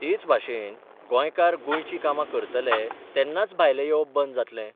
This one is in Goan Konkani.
तेच भाशेन गोंयकार गोंयचीं कामां करतले तेन्नाच भायले येवप बंद जातले.